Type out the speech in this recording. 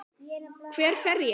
Hver fer ég?